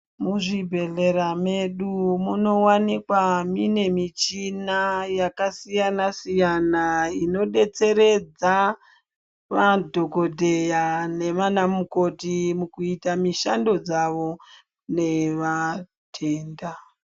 Muzvibhedhlera medu munowanikwa mune michina yakasiyana siyana inodetseredza madhogodheya nana mukoti mukuita mishando dzavo nevatenda.